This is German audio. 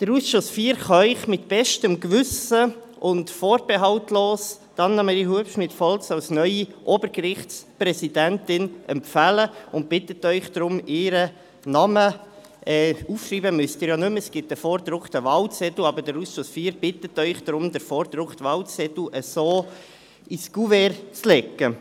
Der Ausschuss IV kann Ihnen mit bestem Gewissen und vorbehaltlos Annemarie Hubschmid Volz als neue Obergerichtspräsidentin empfehlen und bittet Sie deshalb, ihren Namen – aufschreiben müssen Sie ihn ja nicht mehr, es gibt eine vordruckten Wahlzettel – mit dem vorgedruckten Wahlzettel so ins Kuvert zu legen.